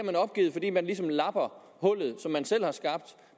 man opgivet fordi man ligesom lapper hullet som man selv har skabt